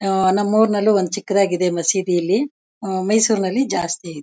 ಆ ನಮ್ಮೂರ್ನಲ್ಲೂ ಒಂದು ಚಿಕ್ಕದಾಗಿದೆ ಮಸೀದಿ ಇಲ್ಲಿ ಆ ಮೈಸೂರಿನಲ್ಲಿ ಜಾಸ್ತಿ ಇದೆ.